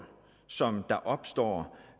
som opstår